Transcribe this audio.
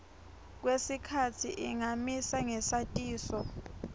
kwesikhatsi ingamisa ngesatiso